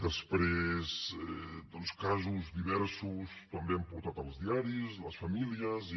després casos diversos també els han portat els diaris les famílies i